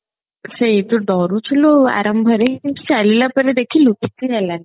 ସେଇ ତୁ ଡରୁଥିଲୁ ଆରମ୍ଭ ରେ ଚାଲିଲା ପରେ ଦେଖିଲୁ କିଛି ହେଲାନି